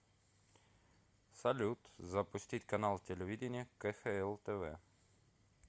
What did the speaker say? салют запустить канал телевидения кхл тв